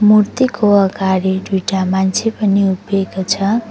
मूर्तिको अगाडि दुईटा मान्छे पनि उभिएको छ।